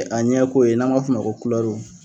A ɲɛ ko ye n'an b'a fɔ ma ko kurɛruw